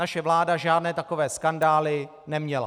Naše vláda žádné takové skandály neměla.